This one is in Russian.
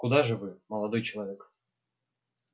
куда же вы молодой человек